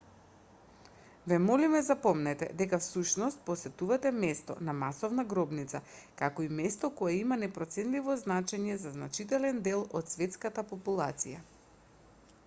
ве молиме запомнете дека всушност посетувате место на масовна гробница како и место кое има непроценливо значење за значителен дел од светската популација